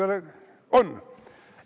On!